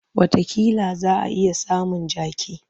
Watakila za a iya samun jaki.